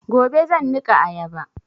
Gobe zan niƙa ayaba